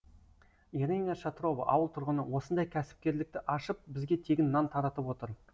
ирина шатрова ауыл тұрғыны осындай кәсіпкерлікті ашып бізге тегін нан таратып отыр